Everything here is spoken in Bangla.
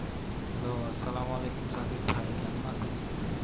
Hello আসসালামু আলাইকুম সাকিব ভাই। কেমন আছেন?